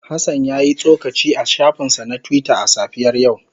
Hassan ya yi tsokaci a shafinsa na Twitter a safiyar yau.